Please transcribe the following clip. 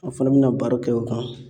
An' fɛnɛ bi na baro kɛ o kan.